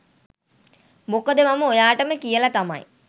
මොකද මම ඔයාටම කියලා තමයි